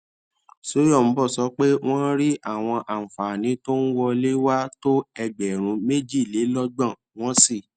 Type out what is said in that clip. soyombo sọ pé wọn rí àwọn àǹfààní tó ń wọlé wá tó ẹgbèrún méjìlélógbòn wọn sì